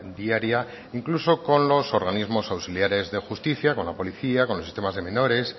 diaria incluso con los organismos auxiliares de justicia con la policía con los sistemas de menores